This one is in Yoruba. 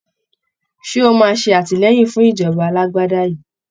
Ṣé o máa ṣe àtìlẹyìn fún ìjọba alágbádá yìí?